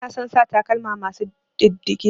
Bana son sa takalma masu ɗiddige.